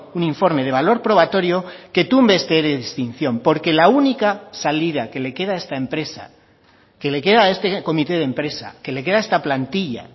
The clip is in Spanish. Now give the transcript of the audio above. un informe de valor probatorio que tumbe este ere de extinción porque la única salida que le queda a esta empresa que le queda a este comité de empresa que le queda a esta plantilla